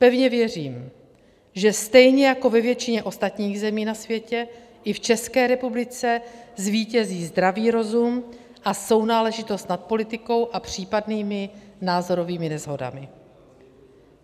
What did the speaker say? Pevně věřím, že stejně jako ve většině ostatních zemí na světě i v České republice zvítězí zdravý rozum a sounáležitost nad politikou a případnými názorovými neshodami.